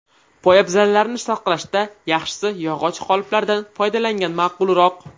Poyabzallarni saqlashda yaxshisi yog‘och qoliplardan foydalangan ma’qulroq.